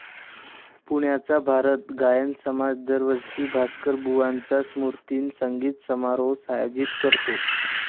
पुण्याचा भारत गायन समाज दरवर्षी भास्करबुवांच्या स्मृतिदिनी संगीत समारोह आयोजित करतो.